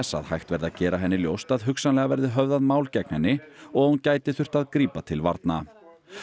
að hægt verði að gera henni ljóst að hugsanlega verði höfðað mál gegn henni og að hún gæti þurft að grípa til varna